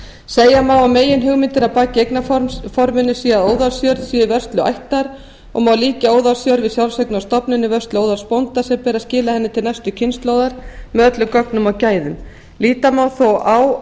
segja má að meginhugmyndin að baki eignarforminu sé að óðalsjörð sé í vörslu ættar og má líkja óðalsjörð við sjálfseignarstofnun í vörslu óðalsbónda sem ber að skila henni til næstu kynslóðar með öllum gögnum og gæðum líta má því á